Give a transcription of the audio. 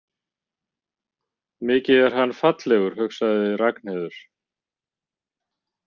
Mikið er hann fallegur, hugsaði Ragnheiður.